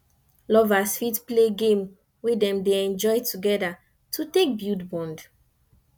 lovers fit play game wey dem dey enjoy together to take bulid bond